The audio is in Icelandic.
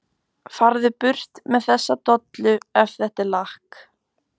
FARÐU BURT MEÐ ÞESSA DOLLU EF ÞETTA ER LAKK.